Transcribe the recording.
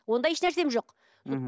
ондай ешнәрсем жоқ мхм